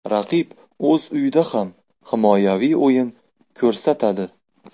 Raqib o‘z uyida ham himoyaviy o‘yin ko‘rsatadi.